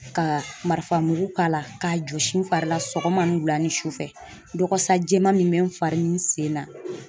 Ka marifa mugu k'ala, ka jɔsi n fari la sɔgɔma, ni wula, ni sufɛ. Dɔgɔsa jɛman min bɛ n fari ni n sen na.